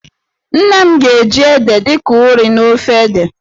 Nne nne m ga-eji ede dị ka ụrị n'ofe ede.